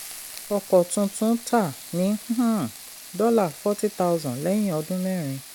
ọkọ̀ tuntun ta ní um dollar forty thousand lẹ́yìn ọdun mẹrin